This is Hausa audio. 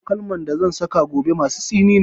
Takalman da zan saka gobe masu tsini ne